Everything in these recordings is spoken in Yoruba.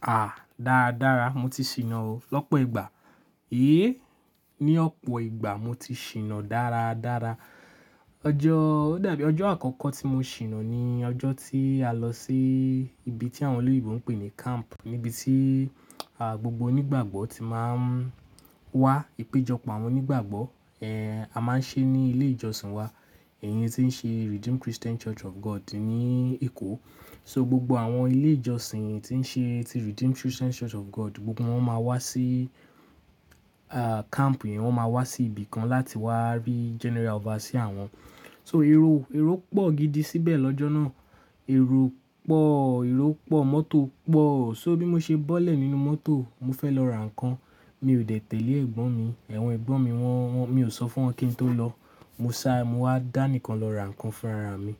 À, dáradára mo ti ṣìnà o lọ́pọ̀ ìgbà. Éèé, ní ọ̀pọ̀ ìgbà mo ti ṣìnà dáradára. Ọjọ́, ó dàbí ọjọ́ àkọ́kọ́ tí mo ṣìnà ni ọjọ́ tí a lọ sí ibi tí àwọn oloyìnbò ń pè ní camp, níbi tí, à, gbogbo onígbàgbọ́ ti máa ń wá. Ipejọpọ̀ àwọn onígbàgbọ́, ẹ, a máa ń ṣe ní ilé ìjọsìn wa. Ẹ̀yin tí ń ṣe Redeem Christian Church of God ní Èkó. So gbogbo àwọn ilé ìjọsìn tí ń ṣe, tí Redeem Christian Church of God gbogbo wọn máa wá sí, à, camp yẹn. Wọn máa wá sí ibi kan láti wá rí General Overseer wọn. So èrò, èrò pọ̀ gidi síbẹ̀ lọ́jọ́ náà. Èrò pọ̀, èrò pọ̀, mọ́tò pọ̀. So, bí mo ṣe bọ́lẹ̀ nínú mọ́tò, mo fẹ́ lọ ra nǹkan, mi ò de tẹ̀lé ẹ̀gbọ́n mi. Awọ̀n ẹ̀gbọ́n mi wọ́n, wọ́n, mi ò sọ fún wọn kí n tó lọ. Mo sá, mo wá dá nìkan lọ ra nǹkan fún ara mi.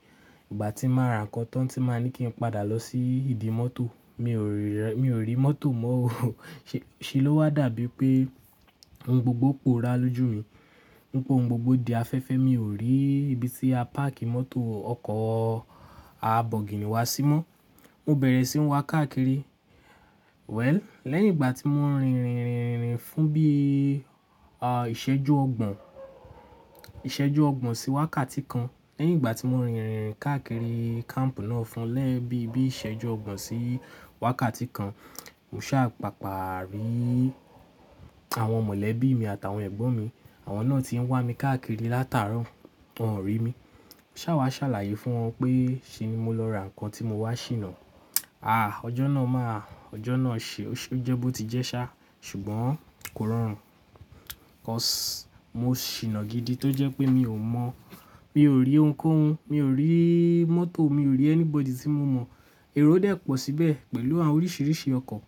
Ìgbà tí màá ra nǹkan tán tí màá ní kí n padà lọ sí ìdí mọ́tò, mi ò rí rẹ̀, mi ò rí mọ́tò mọ́ o. Ṣe, ṣe ló wá dàbí pé ohun gbogbo porá lójú mi. Ohun gbogbo di afẹ́fẹ́, mi ò rí ibi tí a páàkì mọ́tò ọkọ̀ a bọ̀gìnì wa sí mọ́. Mo bẹ̀rẹ̀ sí ń wá káàkiri. Well, lẹ́yìn ìgbà tí mo rìn, rìn, rìn, rìn, fún bí, à, ìṣẹ́jú ọgbọ̀n, ìṣẹ́jú ọgbọ̀n sí wákàtí kan. Lẹ́yìn ìgbà tí mo rìn, rìn káàkiri camp náà fún lẹ́yin bi, bí ìṣẹ́jú ọgbọ̀n sí wákàtí kan, mo sá pàpàá rí àwọn mọ̀lẹ́bí mi àtàwọn ẹ̀gbọ́n mi. Àwọn náà ti ń wá mi káàkiri látàárọ̀, wọn ò rí mi. Mo sá wá ṣàlàyé fún wọn pé ṣé ni mo lọ ra nǹkan tí mo wá ṣìnà. Ọjọ́ náà máa, ọjọ́ náà ṣe, ó jẹ́ bó ti jẹ́ ṣá, ṣùgbọ́n kò rọrùn. 'Cause mo ṣìnà gidi tó jẹ́ pé mi ò mọ̀, mi ò rí ohunkóhun, mi ò rí mọ́tò, mi ò rí anybody tí mo mọ̀. Èrò dẹ̀́ pọ̀ síbẹ̀ pẹ̀lú àwọn oríṣìíríṣìí ọkọ̀